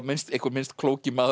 einhver minnst klóki maður